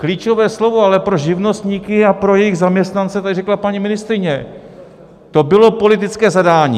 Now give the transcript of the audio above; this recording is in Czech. Klíčové slovo ale pro živnostníky a pro jejich zaměstnance tady řekla paní ministryně: To bylo politické zadání.